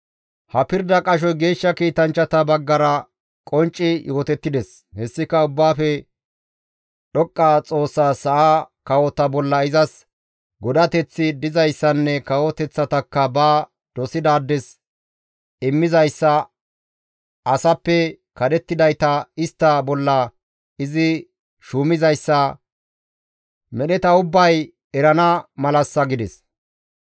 « ‹Ha pirda qashoy geeshsha kiitanchchata baggara qoncci yootettides; hessika Ubbaafe Dhoqqa Xoossas sa7a kawota bolla izas godateththi dizayssanne kawoteththatakka ba dosidaades immizayssa, asappe kadhettidayta istta bolla izi shuumizayssa, medheta ubbay erana malassa› gides.